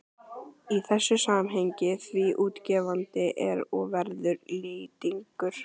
í þessu samhengi, því útgefandi er og verður Lýtingur